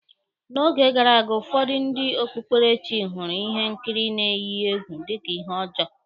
N'oge gara aga, ụfọdụ ndị okpukperechi hụrụ ihe nkiri n-eyi egwu dika ihe ọjọọ.